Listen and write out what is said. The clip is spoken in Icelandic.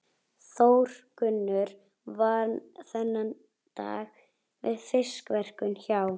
Þórgunnur vann þennan dag við fiskverkun hjá